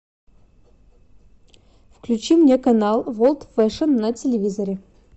включи мне канал ворлд фэшн на телевизоре